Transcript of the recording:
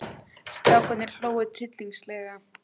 Strákarnir hlógu tryllingslega.